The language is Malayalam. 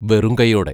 വെറും കൈയോടെ!!